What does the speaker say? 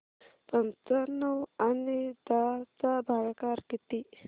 पंचावन्न आणि दहा चा भागाकार किती